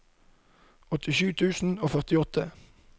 åttisju tusen og førtiåtte